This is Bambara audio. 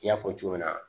N y'a fɔ cogo min na